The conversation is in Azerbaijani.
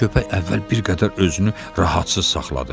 Çöpək əvvəl bir qədər özünü rahatsız saxladı.